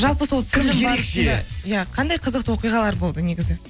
жалпы сол түсірілім барысында иә қандай қызықты оқиғалар болды негізі